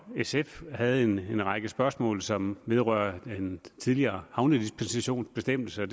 sf havde en række spørgsmål som vedrører en tidligere havnedispensationsbestemmelse